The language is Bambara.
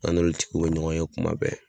An n'olu tigiw be ɲɔgɔn ye kuma bɛɛ